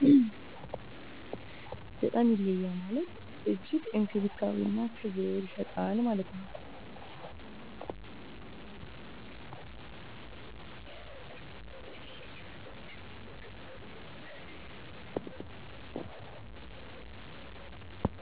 በጣም ይለያል ማለት እጅግ እንክብካቤና ክብር ይሠጣል።